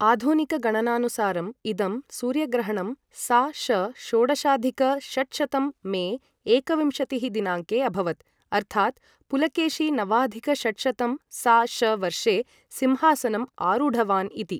आधुनिकगणनानुसारम्, इदं सूर्यग्रहणं सा.श. षोडशाधिक षट्शतं मे एकविंशतिः दिनाङ्के अभवत्, अर्थात् पुलकेशी नवाधिक षट्शतं सा.श. वर्षे सिंहासनम् आरूढवान् इति।